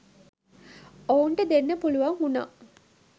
ඔවුන්ට දෙන්න පුළුවන් වුනා.